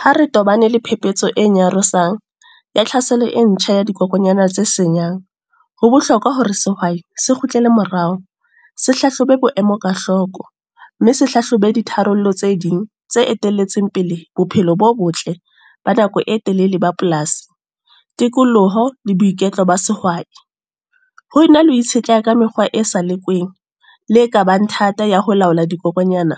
Ha re tobane le phepetso e nyarosang, ya tlhaselo e ntjha ya dikokonyana tse senyang. Ho bohlokwa hore sehwai se kgutlele morao, se hlahlobe boemo ka hloko. Mme se hlahlobe di tharollo tse ding tse etelletseng pele, bophelo bo botle ba nako e telele ba polasi, tikoloho le boiketlo ba sehwai. Ho na le ho itshetleha ka mekgwa e sa lekweng, le ka bang thata ya ho laola dikokonyana.